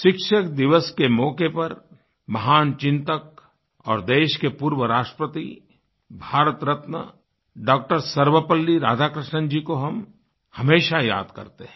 शिक्षक दिवस के मौक़े पर महान चिन्तक और देश के पूर्व राष्ट्रपति भारत रत्न डॉ० सर्वपल्ली राधाकृष्णन जी को हम हमेशा याद करते हैं